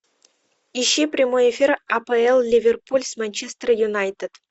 ищи прямой эфир апл ливерпуль с манчестер юнайтед